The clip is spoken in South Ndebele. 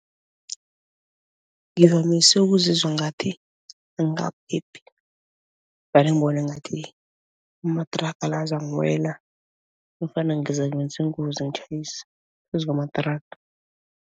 Ngivamise ukuzizwa ngathi angaphephi, vane ngibone ngathi amathraga la azangiwela nofana ngizakwenza ingozi ngitjhayise phezu kwamathraga.